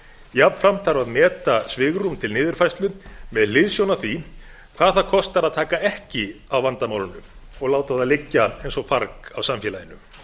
jafnframt þarf að meta svigrúm til niðurfærslu með hliðsjón af því hvað það kostar að taka ekki á vandamálinu og láta það liggja eins og farg á samfélaginu